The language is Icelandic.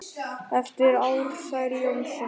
eftir Ársæl Jónsson